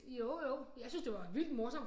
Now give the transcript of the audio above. Jo jo jeg syntes det var vildt morsomt